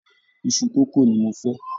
Iṣu kókò ni mo fẹ́.